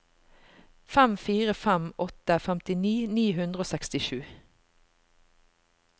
fem fire fem åtte femtini ni hundre og sekstisju